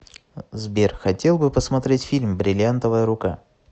сбер хотел бы посмотреть фильм бриллиантовая рука